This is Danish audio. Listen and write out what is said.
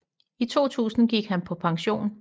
I 2000 gik han på pension